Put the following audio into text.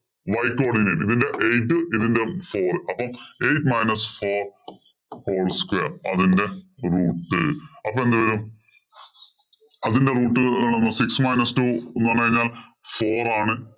y coordinate ഇതിന്‍റെ eight ഇതിന്‍റെ four അപ്പൊ eight minus four whole square അതിന്‍റെ root അപ്പൊ എന്ത് വരും. അതിന്‍റെ rootsix minus two എന്ന് പറഞ്ഞ് കഴിഞ്ഞാൽ four ആണ്